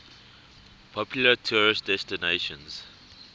popular tourist destinations